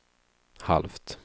halvt